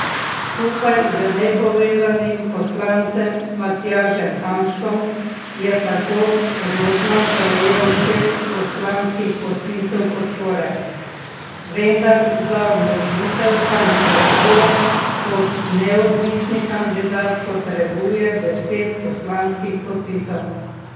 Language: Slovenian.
Skupaj z nepovezanim poslancem Matjažem Hanžkom je tako Rozman prejel šest poslanskih podpisov podpore, vendar za vložitev kandidature kot neodvisni kandidat potrebuje deset poslanskih podpisov.